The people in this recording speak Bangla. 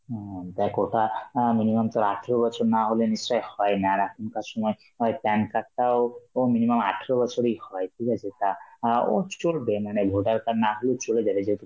হম দেখ ওটা আ minimum তোর আঠারো বছর না হলে নিশ্চয়ই হয় না, আর এখনকার সময় হয় PAN card তাও ও minimum আঠারো বছরেই হয়, ঠিক আছে, তা আঁ ও চ~ চলবে মানে voter card না হলেও চলে যাবে যেহেতু